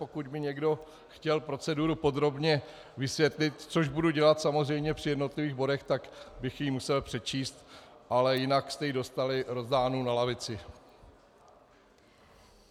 Pokud by někdo chtěl proceduru podrobně vysvětlit, což budu dělat samozřejmě při jednotlivých bodech, tak bych ji musel přečíst, ale jinak jste ji dostali rozdánu na lavici.